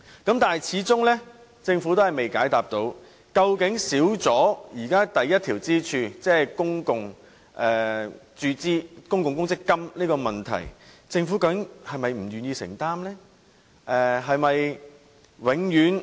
可是，政府始終未能解答，對於現在缺少了第一根支柱，即公共公積金的問題，究竟政府是否不願意承擔？